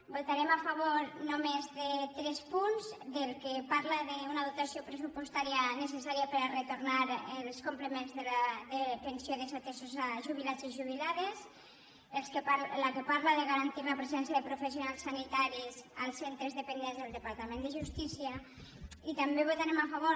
votarem a favor només de tres punts del que parla d’una dotació pressupostària necessària per a retornar els complements de pensió desatesos a jubilats i jubilades del que parla de garantir la presència de professionals sanitaris als centres dependents del departament de justícia i també votarem a favor